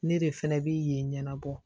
Ne de fɛnɛ bi yen ɲɛnabɔ